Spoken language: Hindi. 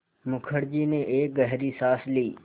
मुखर्जी ने एक गहरी साँस ली